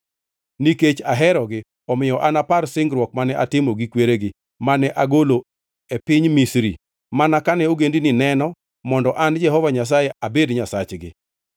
Nikech aherogi, omiyo anapar singruok mane atimo gi kweregi, mane agolo e piny Misri mana kane ogendini neno mondo an Jehova Nyasaye abed Nyasachgi.”